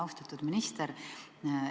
Austatud minister!